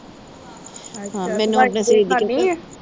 ਅੱਛਾ।